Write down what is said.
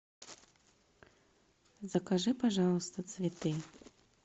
закажи пожалуйста цветы